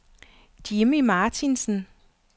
Jimmy Martinsen